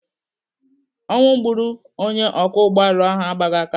Ọnwụ gburu onye ọkwọ ụgbọala ahụ agbaghị aka.